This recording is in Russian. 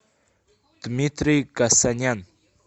дмитрий касанян